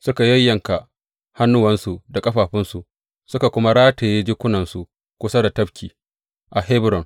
Suka yayyanka hannuwansu da ƙafafunsu, suka kuma rataye jikunansu kusa da tafki a Hebron.